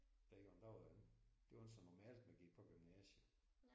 Dengang der var det ikke det var ikke så normalt man gik på gymnasiet